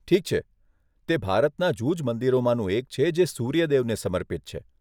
ઠીક છે, તે ભારતના જૂજ મંદિરોમાંનું એક છે જે સૂર્ય દેવને સમર્પિત છે.